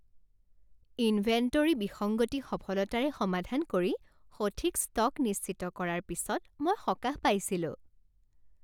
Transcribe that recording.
Inventory বিসংগতি সফলতাৰে সমাধান কৰি, সঠিক ষ্টক নিশ্চিত কৰাৰ পিছত মই সকাহ পাইছিলো।